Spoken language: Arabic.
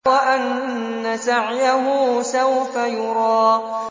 وَأَنَّ سَعْيَهُ سَوْفَ يُرَىٰ